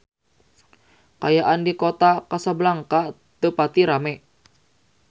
Kaayaan di Kota Kasablanka teu pati rame